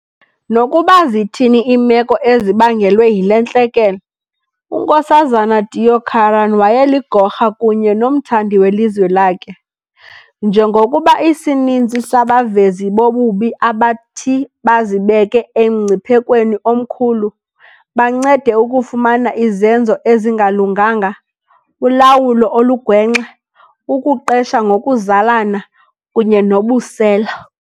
Nokuba zithini iimeko ezibangelwe yile ntlekele, uNks Deokaran wayeligorha kunye nomthandi welizwe lakhe. Njengokuba isininzi sabavezi bobubi abathi bazibeke emngciphekweni omkhulu, bancede ukufumana izenzo ezingalunganga, ulawulo olugwenxa, ukuqesha ngokokuzalana kunye nobusela.